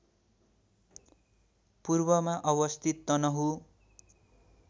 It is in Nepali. पूर्वमा अवस्थित तनहुँ